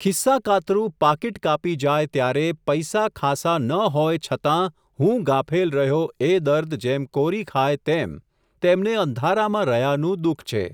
ખિસ્સાકાતરુ પાકીટ કાપી જાય ત્યારે, પૈસા ખાસા ન હોય છતાં, હું ગાફેલ રહ્યો એ દર્દ જેમ કોરી ખાય તેમ, તેમને અંધારામાં રહ્યાનું દુઃખ છે.